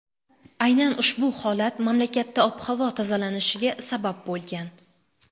Aynan ushbu holat mamlakatda ob-havo tozalanishiga sabab bo‘lgan.